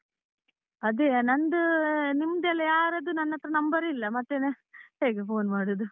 ಅದೇಯ, ನಂದು ನಿಮ್ದೆಲ್ಲಾ ಯಾರದ್ದೂ ನನ್ ಹತ್ರ number ಇಲ್ಲ, ಮತ್ತೆ ಹೇಗೆ phone ಮಾಡುದು?